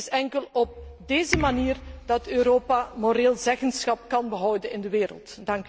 Het is enkel op deze manier dat Europa moreel zeggenschap kan behouden in de wereld.